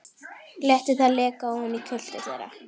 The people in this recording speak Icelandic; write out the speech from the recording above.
Léti það leka ofan í kjöltur þeirra.